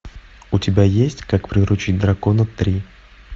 у тебя есть как приручить дракона три